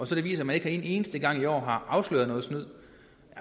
så viser at man ikke en eneste gang i år har afsløret noget snyd